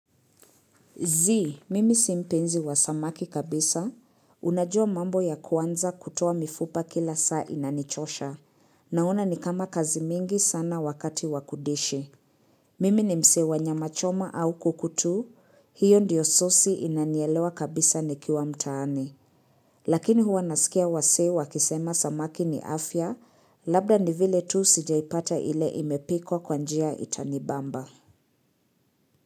Zii, mimi si mpenzi wa samaki kabisa, unajua mambo ya kuanza kutoa mifupa kila saa inanichosha, naona ni kama kazi mingi sana wakati wa kudishi. Mimi ni msee wa nyama choma au kuku tu, hiyo ndiyo sosi inanielewa kabisa nikiwa mtaani. Lakini huwa nasikia wasee wakisema samaki ni afya, labda ni vile tu sijaipata ile imepikwa kwa njia itanibamba.